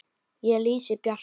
Ég lýsi Bjarka